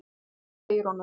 Og hún segir honum það.